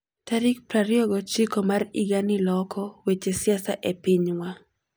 Tarik 29 mar higani loko weche siasa e pinywa!